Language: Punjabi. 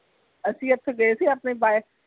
ਅਸੀਂ ਇਥੋਂ ਗਏ ਸੀ ਆਪਣੀ bike